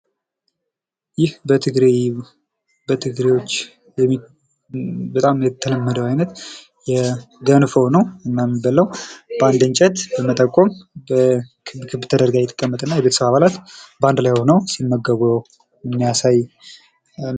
ይህ በትግሬዎች በጣም የተለመደው አይነት ገንፎ ነው፤ እና የሚበላው በአንድ እንጨት በመጠቆም ክብ ክብ ተደርጋ ትቀመጥና የቤተሰብ አባላት በአንድ ላይ ሆነው ሲመገቡ የሚያሳይ ነው።